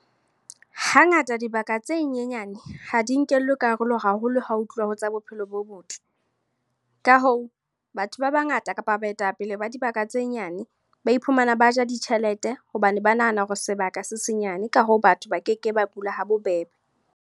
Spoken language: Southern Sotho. Hangata dibaka tse nyenyane, ha di nkellwe karolo haholo ha ho tluwa ho tsa bophelo bo botle. Ka hoo, batho ba bangata kapa baetapele ba dibaka tse nyane, ba iphumana ba ja ditjhelete. Hobane ba nahana hore sebaka se senyane. Ka hoo, batho ba keke ba bua ha bobebe.